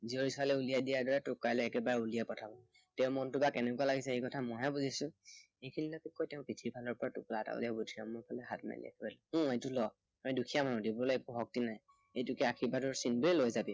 জীয়ৰী ছোৱালী উলিয়াই দিয়াৰ দৰে তোক কাইলৈ একেবাৰে উলিয়াই পঠাব। তেওঁৰ মনটো বা কেনেকুৱা লাগিছে এই কথা মই হে বুজিছো। এইখিনিলেকে কৈ তেওঁ পিঠিৰ ফালৰ পৰা টোপোলা এটা উলিয়াই বুদ্ধিৰামৰ ফালে হাত মেলি কলে, হু এইটো ল, মই দুখীয়া মানুহ দিবলৈ একো শক্তি নাই, এইটোকে আৰ্শীবাদৰ চিন দেই লবি